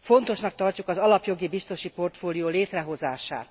Fontosnak tartjuk az alapjogi biztosi portfólió létrehozását,